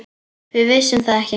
Við vissum það ekki.